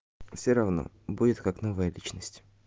все равно будет как новая личность